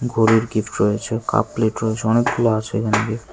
ঘরুর gift রয়েছে cup plate রয়েছে অনেকগুলো আছে এখানে গিফট ।